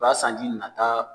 U ka sanji nana